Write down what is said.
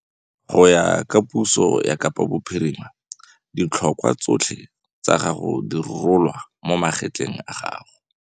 Go ya ka puso ya Kapa Bophirima, ditlhokwa tsotlhe tsa gago di rolwa mo magetleng a gago.